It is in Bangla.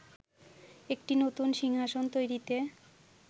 একটি নতুন সিংহাসন তৈরিতে